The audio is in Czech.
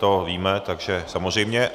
To víme, takže samozřejmě.